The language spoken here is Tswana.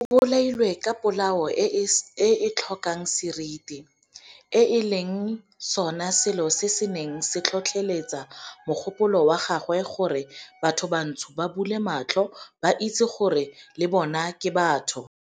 O bolailwe ka polao e e tlhokang seriti, e leng sona selo se se neng se tlhotlheletsa mogopolo wa gagwe wa gore bathobantsho ba bule matlho ba itse gore le bona ke batho.